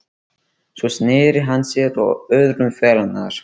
Svo sneri hann sér að öðrum félaganna